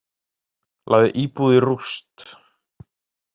Lagði íbúð í rúst